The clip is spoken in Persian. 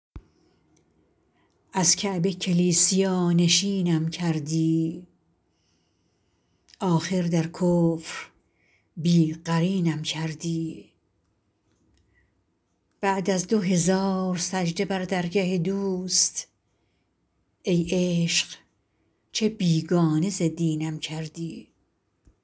از کعبه کلیسیا نشینم کردی آخر در کفر بی قرینم کردی بعد از دو هزار سجده بر درگه دوست ای عشق چه بیگانه ز دینم کردی